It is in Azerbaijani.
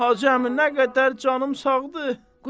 Hacı əmi, nə qədər canım sağdır?